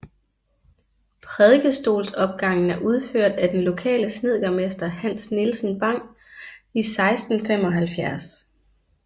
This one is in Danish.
Prædikestolsopgangen er udført af den lokale snedkermester Hans Nielsen Bang i 1675